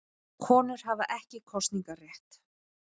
Konur hafa ekki kosningarétt.